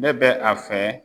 Ne bɛ a fɛ